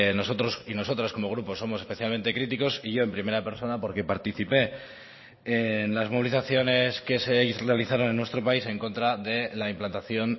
nosotros y nosotras como grupo somos especialmente críticos y yo en primera persona porque participé en las movilizaciones que se realizaron en nuestro país en contra de la implantación